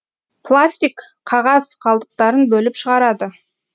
пластик қағаз қалдықтарын бөліп шығарады